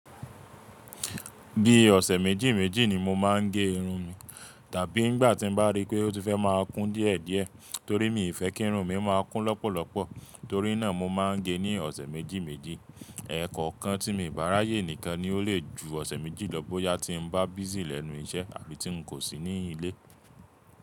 Bí ọ̀sẹ̀ méjì méjì ni mo máa ń ge irun mi, tàbí ìgbà tí n bá rí pé ó ti fẹ́ máa kún díẹ̀ díẹ̀ torí mi ì fẹ́ kí irun mi máa kún lọ́pọ̀lọ́pọ̀ torí náà mo máa ń gẹ ní ọ̀sẹ̀ méjì méjì. Ẹ̀ẹ̀kọ̀kan tí mi ò bá r'ayè nìkan ni o le ju ọ̀sẹ̀ méjì lọ bóyá tí n bá busy lẹ́nu iṣẹ́ àbí tí n kò sí ní ilé.